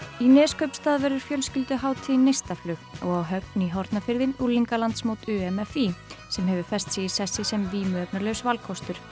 í Neskaupstað verður fjölskylduhátíðin neistaflug og á Höfn í hornarfirði unglingalandsmót u m f í sem hefur fest sig í sessi sem vímuefnalaus valkostur